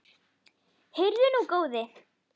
Heyrðu nú, góði!